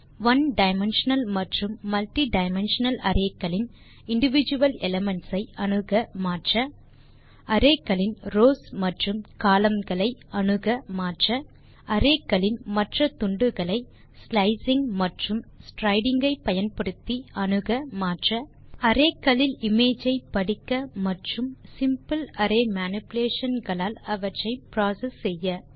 one dimensional மற்றும் multi dimensional array களின் individual elements ஐ அணுக மாற்ற அரே களின் ரவ்ஸ் மற்றும் கோலம்ன் களை அணுக மாற்ற அரே களின் மற்ற துண்டுகளை ஸ்லைசிங் மற்றும் ஸ்ட்ரைடிங் ஐ பயன்படுத்தி அணுக மாற்ற அரே களில் இமேஜஸ் ஐ படிக்க மற்றும் சிம்பிள் அரே மேனிபுலேஷன் களால் அவற்றை ப்ராசஸ் செய்ய